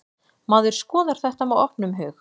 Maður skoðar þetta með opnum hug.